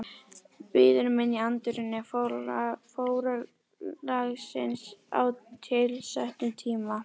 Bíður mín í anddyri forlagsins á tilsettum tíma.